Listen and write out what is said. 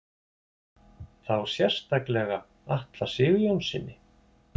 Þá sérstaklega Atla Sigurjónssyni?